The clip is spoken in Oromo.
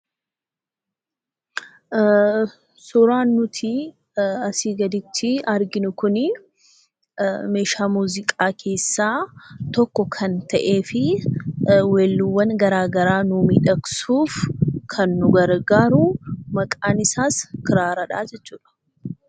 Suuraan nuti asii gaditti arginu kunii meeshaa muuziqaa keessaa tokko kan ta'ee fi weelluuwwan garaagaraa miidhagsuuf kan nu gargaaru maqaan isaas Kiraaradha jechuudha.